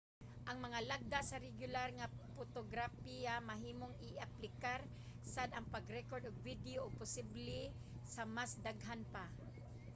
ang mga lagda sa regular nga potograpiya mahimong i-aplikar sad sa pag-rekord og video ug posible sa mas daghan pa